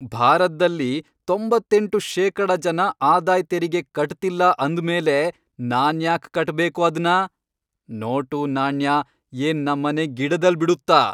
ಭಾರತ್ದಲ್ಲಿ ತೊಂಬತ್ತೆಂಟು ಶೇಕಡ ಜನ ಆದಾಯ್ ತೆರಿಗೆ ಕಟ್ತಿಲ್ಲ ಅಂದ್ಮೇಲೆ ನಾನ್ಯಾಕ್ ಕಟ್ಬೇಕು ಅದ್ನ?! ನೋಟು, ನಾಣ್ಯ, ಏನ್ ನಮ್ಮನೆ ಗಿಡದಲ್ ಬಿಡುತ್ತಾ!